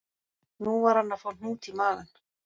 Nú var hann að fá hnút í magann